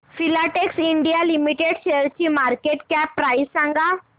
Filatex India limited शेअरची market cap price सांगा